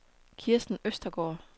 Kirsten Østergaard